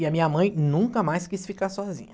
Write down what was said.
E a minha mãe nunca mais quis ficar sozinha.